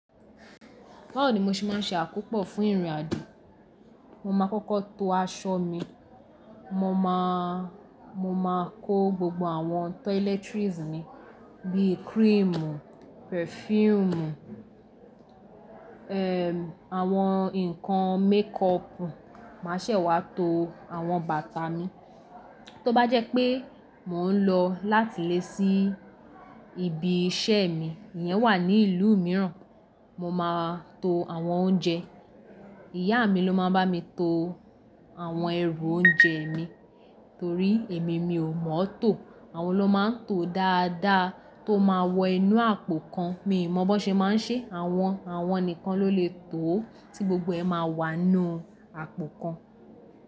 Báwo ni mo ṣe má ń ṣe àkópò fún ìrìn àjò? Mo máa kọ́kọ́ to aṣọ mi. Mo máa, mo máa kó gbogbo àwọn tọílẹ́trìes mí, bí i cream, perfume, eh, àwọn nǹkan makeup Màá ṣẹ̀ wá to àwọn bàtà mi. Tóbá jẹ́ pé mò ń lọ láti ilé sí ibi iṣẹ́ mi, ìyẹn wà ní ìlú mìíràn, mo máa to àwọn oúnjẹ. Ìyá mi ló má a ń bá mi to àwọn ẹrù oúnjẹ mi, torí èmi mi ò mọ́ tó. Àwọn ló máa ń to dáadáa tó máa wọ inú àpò kan. Mi ò mọ bó ṣe má ń ṣe, àwọn, àwọn nìkan ló lè tó ó tí gbogbo ẹ máa wà nínú àpò kan.